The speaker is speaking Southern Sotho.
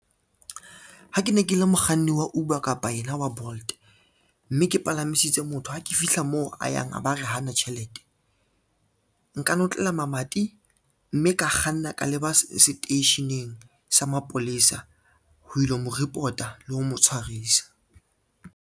Ha ke ne ke le mokganni wa Uber kapa yena wa Bolt, mme ke palamisitse motho, ha ke fihla moo a yang a ba re hana tjhelete. Nka notlela mamati, mme ka kganna ka leba seteisheneng sa mapolesa ho ilo mo report-a le ho mo tshwarisa.